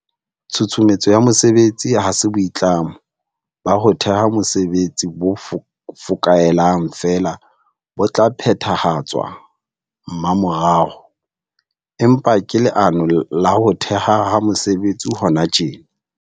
Tshusumetso ya mesebetsi ha se boitlamo ba ho theha mesebetsi bo fokaelang feela bo tla phethahatswa mmamorao, empa ke leano la ho thehwa ha mesebetsi hona tjena.